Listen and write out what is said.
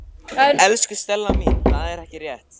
Elsku Stella mín, það er ekki rétt.